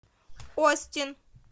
остин